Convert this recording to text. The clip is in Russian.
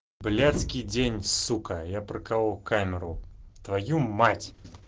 блядский день сука прокалол камеру твою мать